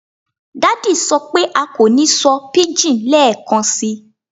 Daddy sọ pe a ko ni sọ pidgin lẹẹkansi